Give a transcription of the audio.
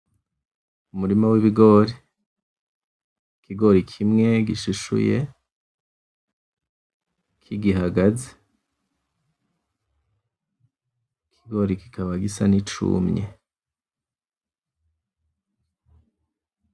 Umurima w'ibigori, ikigori kimwe gishishuye kigihagaze, ikigori kikaba gisa n'icumye.